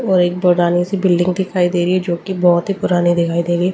और एक पुरानी सी बिल्डिंग दिखाई दे रही है जो कि बहुत ही पुरानी दिखाई दे रही है।